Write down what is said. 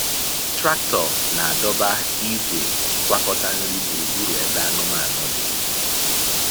Traktọ na-adọba igwe ngwakọta nri gburugburu ebe anụmanụ dị.